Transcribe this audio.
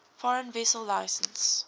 foreign vessel licence